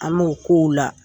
An m'o ko u la.